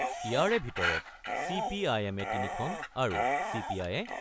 ইয়াৰে ভিতৰত C P I এমে তিনিখন আৰু চি পি আয়ে